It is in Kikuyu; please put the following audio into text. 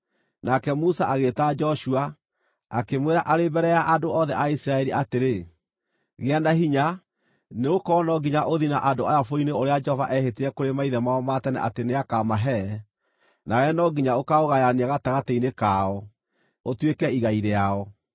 Nake Musa agĩĩta Joshua, akĩmwĩra arĩ mbere ya andũ othe a Isiraeli atĩrĩ, “Gĩa na hinya, nĩgũkorwo no nginya ũthiĩ na andũ aya bũrũri-inĩ ũrĩa Jehova eehĩtire kũrĩ maithe mao ma tene atĩ nĩakamahe, nawe no nginya ũkaaũgayania gatagatĩ-inĩ kao, ũtuĩke igai rĩao.